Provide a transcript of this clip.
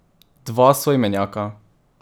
Dva soimenjaka.